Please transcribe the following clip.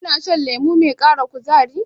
Kina shan lemo mai ƙara kuzari?